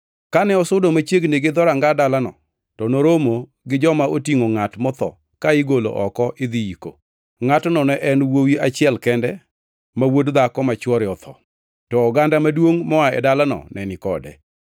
Kane osudo machiegni gi dhoranga dalano, to noromo gi joma otingʼo ngʼat motho ka igolo oko idhi yiko. Ngʼatno ne en wuowi achiel kende ma wuod dhako ma chwore otho. To oganda maduongʼ moa e dalano ne ni kode.